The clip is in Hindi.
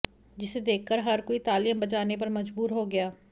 जिसे देखकर हर कोई तालियां बजाने पर मजबूर हो गया